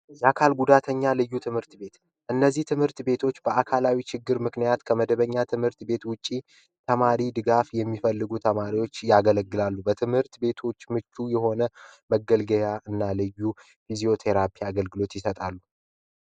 የአካል ጉዳተኛ ልዩ ትምርት በት እነዝህ ትህምርት በቶች በአካላው ችግር ምክኛት ከመደበኛ ትህምርት በት ዉጭ ተማር ድጋፍ የምፈልጉ ተማርዎች ያገለግላሉ ትህምርት በቶቹ ምቹ የሆነ መገልገያ እና ፕዞተራፕይ ይሰጣሉ